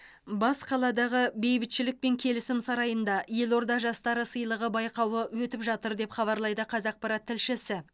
бас қаладағы бейбітшілік және келісім сарайында елорда жастары сыйлығы байқауы өтіп жатыр деп хабарлайды қазақпарат тілшісі